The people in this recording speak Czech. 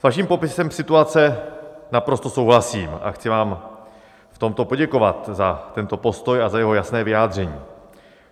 S vaším popisem situace naprosto souhlasím a chci vám v tomto poděkovat za tento postoj a za jeho jasné vyjádření.